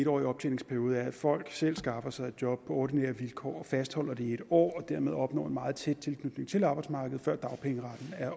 årig optjeningsperiode er at folk selv skaffer sig et job på ordinære vilkår og fastholder det år og dermed opnår en meget tæt tilknytning til arbejdsmarkedet før dagpengeretten er